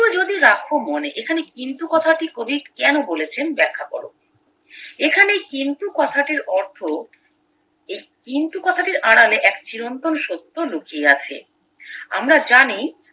কিন্তু যদি রাখো মনে এখানে কিন্তু কথাটি কবি কেন বলেছেন ব্যাখ্যা কর এখানে কিন্তু কথাটির অর্থ এই কিন্তু কথাটির আড়ালে এক চিরন্তন সত্য লুকিয়ে আছে আমরা জানি